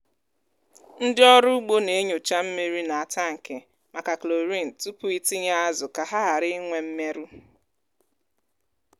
ndị ọrụ ugbo na-enyocha mmiri n’atankị maka chlorine tupu itinye azụ ka ha ghara inwe mmerụ.